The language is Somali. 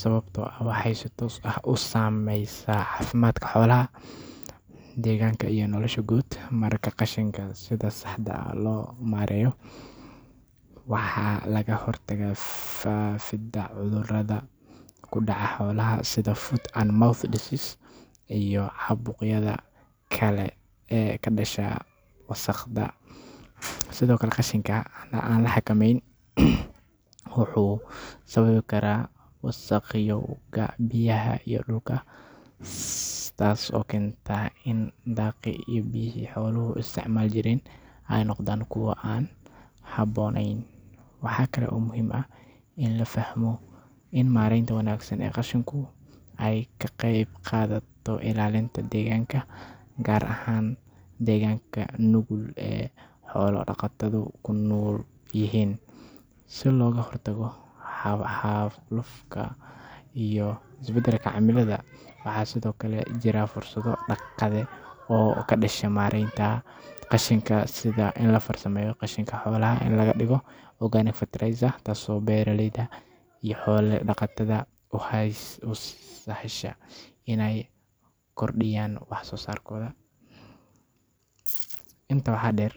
sababtoo ah waxay si toos ah u saameysaa caafimaadka xoolaha, deegaanka iyo noloshooda guud. Marka qashinka sida saxda ah loo maareeyo, waxaa laga hortagaa faafidda cudurrada ku dhaca xoolaha sida foot and mouth disease iyo caabuqyada kale ee ka dhasha wasakhda. Sidoo kale, qashinka aan la xakameyn wuxuu sababi karaa wasakhowga biyaha iyo dhulka, taas oo keenta in daaqii iyo biyihii xooluhu isticmaali jireen ay noqdaan kuwo aan habboonayn. Waxaa kale oo muhiim ah in la fahmo in maaraynta wanaagsan ee qashinku ay ka qeyb qaadato ilaalinta deegaanka, gaar ahaan deegaanka nugul ee xoolo-dhaqatadu ku nool yihiin, si looga hortago xaalufka iyo isbedelka cimilada. Waxaa sidoo kale jira fursado dhaqaale oo ka dhasha maaraynta qashinka sida in la farsameeyo qashinka xoolaha oo laga dhigo organic fertilizer taasoo beeraleyda iyo xoolo-dhaqatada u sahasha inay kordhiyaan wax-soosaarkooda. Intaa waxaa dheer.